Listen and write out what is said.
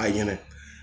A ɲinɛ